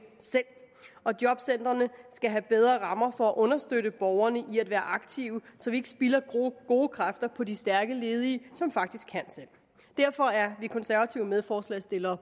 selv og jobcentrene skal have bedre rammer for at understøtte borgerne i at være aktive så vi ikke spilder gode kræfter på de stærke ledige som faktisk kan selv derfor er de konservative medforslagsstillere